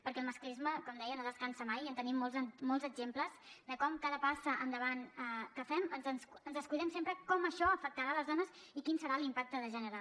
perquè el masclisme com deia no descansa mai en tenim molts exemples de com amb cada passa endavant que fem ens descuidem sempre de com això afectarà les dones i quin serà l’impacte de gènere